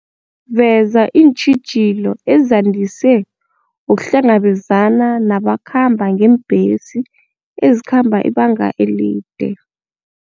Veza iintjhijilo ezandise ukuhlangabezana nabakhamba ngeembhesi ezikhamba ibanga elide.